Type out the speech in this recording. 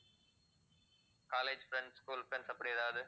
college friends, school friends அப்படி ஏதாவது